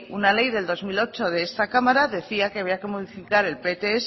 una ley del dos mil ocho de esta cámara decía que había que modificar el pts